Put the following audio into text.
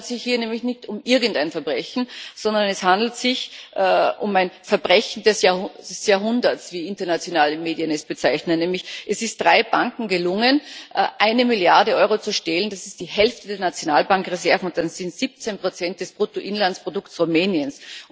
Es handelt sich hier nämlich nicht um irgendein Verbrechen, sondern es handelt sich um ein Verbrechen des Jahrhunderts wie internationale Medien es bezeichnen. Es ist nämlich drei Banken gelungen, eine Milliarde Euro zu stehlen das ist die Hälfte der Nationalbankreserven, und das sind 17 Prozent des Bruttoinlandsprodukts Rumäniens.